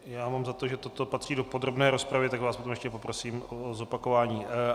Já mám za to, že toto patří do podrobné rozpravy, takže vás potom ještě poprosím o zopakování.